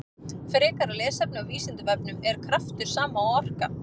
Frekara lesefni á Vísindavefnum: Er kraftur sama og orka?